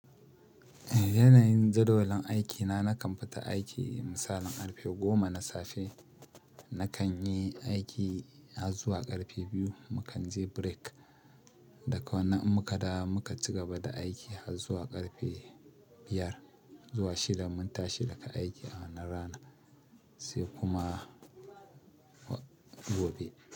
Yanayin jadawalin aikina nakan fita aiki misalin ƙarfe goma na safe, nakan yi aiki har zuwa ƙarfe biyu, mu kan je break, Daka wannan in muka dawo muka cigaba da aiki har zuwa ƙarfe biyar, zuwa shida mun tashi daga aiki, a wannan ranan, sai kuma gobe.